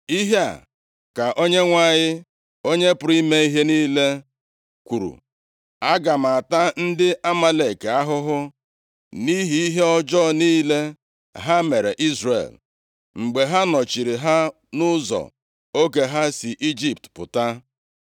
Ihe a ka Onyenwe anyị, Onye pụrụ ime ihe niile + 15:2 Onye pụrụ ime ihe niile kwuru. ‘Aga m ata ndị Amalek ahụhụ nʼihi ihe ọjọọ niile ha mere Izrel, mgbe ha nọchiri ha nʼụzọ oge ha si Ijipt pụta.